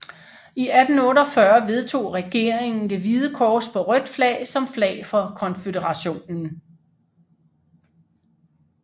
I 1848 vedtog regeringen det hvide kors på rødt som flag for konføderationen